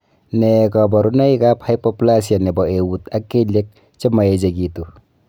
Nee kabarunoikab hypoplasia nebo eut ak kelyek che maechekitu.